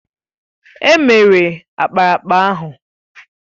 È mere ákpáraàkpà ahụ